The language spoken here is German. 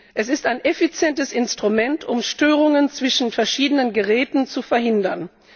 Es ist ein effizientes Instrument, um Störungen zwischen verschiedenen Geräten zu verhindern.